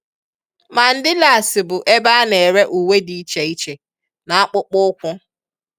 Mandilas bụ ebe a na-ere uwe dị iche iche na akpụkpọ ụkwụ